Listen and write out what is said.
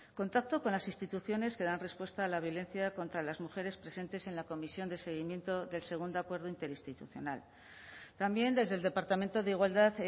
contacto con las instituciones que dan respuesta a la violencia contra las mujeres presentes en la comisión de seguimiento del segundo acuerdo interinstitucional también desde el departamento de igualdad